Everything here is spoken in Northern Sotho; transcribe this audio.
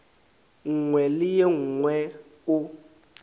nngwe le ye nngwe o